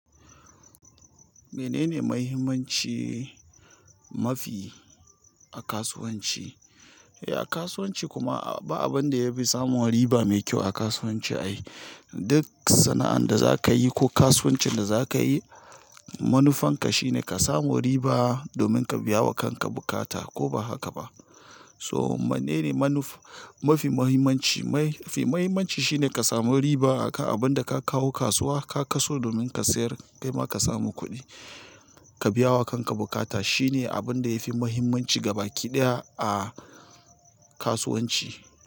Menene mahimmanci mafi a kasuwanci? Eh, a kasuwanci kuma ba abin da yafi samun riba mai kyau a kasuwanci ai. Duk sana'an da zaka yi ko kasuwancin da zaka yi, manufanka shine ka samu riba domin ka biya wa kanka bukata ko ba haka ba. So menene manuf-- mafi muhimmanci, mafi muhimmanci shine ka samu riba akan abin da ka kawo kasuwa, ka kaso domin ka sayar kai ma ka samu kuɗi, ka biya wa kanka bukata. Shine abin da yafi muhimmanci gaba ki ɗaya a kasuwanci.